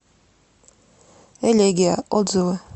элегия отзывы